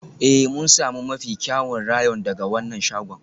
Ee, mun sami mafi kyawun rayon daga wannan shagon.